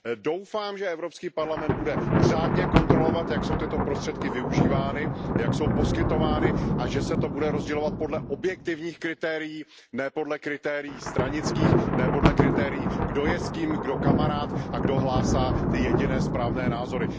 Doufám, že Evropský parlament bude řádně kontrolovat, jak jsou tyto prostředky využívány, jak jsou poskytovány, a že se to bude rozdělovat podle objektivních kritérií, ne podle kritérií stranických, ne podle kritérií, kdo je s kým kamarád a kdo hlásá ty jediné správné názory.